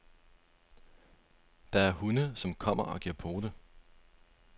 Der er hunde, som kommer og giver pote.